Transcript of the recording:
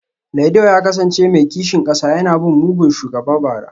Laido ya kasance mai kishin kasa yana bin mugun shugaba bara